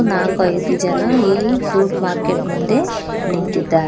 ನಾಕು ಐದು ಜನ ಈ ಫ್ರೂಟ್ ಮಾರ್ಕೆಟ್ ಮುಂದೆ ನಿಂತಿದ್ದಾರೆ.